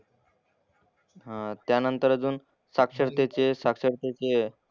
हां त्यानंतर अजून साक्षरतेचे साक्षरतेचे,